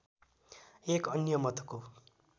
एक अन्य मतको